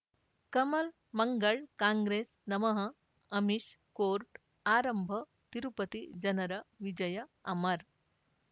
ಕಮಲ್ ಮಂಗಳ್ ಕಾಂಗ್ರೆಸ್ ನಮಃ ಅಮಿಷ್ ಕೋರ್ಟ್ ಆರಂಭ ತಿರುಪತಿ ಜನರ ವಿಜಯ ಅಮರ್